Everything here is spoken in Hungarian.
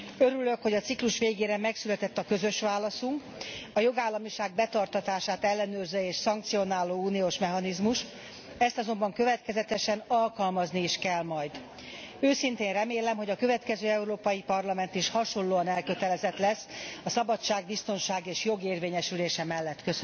Örülök, hogy a ciklus végére megszületett közös válaszunk, a jogállamiság betartatását ellenőrző és megsértését szankcionáló uniós mechanizmus ezt azonban következetesen alkalmazni is kell majd. Őszintén remélem, hogy a következő Európai Parlament is hasonlóan elkötelezett lesz a szabadság, biztonság és jog érvényesülése mellett.